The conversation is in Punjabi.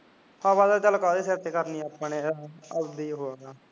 ਹਵਾ ਤਾਂ ਚਲ ਕਾਹਦੇ ਸਿਰ ਤੇ ਕਰਨੀ ਉਦਾ ਹੀ